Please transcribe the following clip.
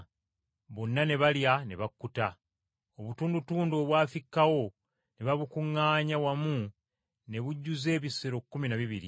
Bonna ne balya ne bakkuta; obutundutundu obwafikkawo ne babukuŋŋaanya wamu ne bujjuza ebisero kkumi na bibiri!